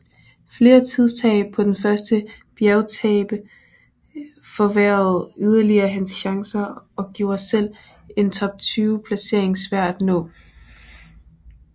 Flere tidstab på den første bjergetape forværrede yderligere hans chancer og gjorde selv en top 20 placering svær at nå